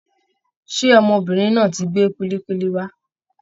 Ṣé ọmọbìnrin náà tí gbé kulikuli wá?